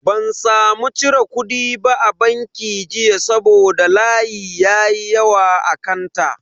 Ban samu cire kudi ba a banki jiya saboda layi ya yi yawa a kanta.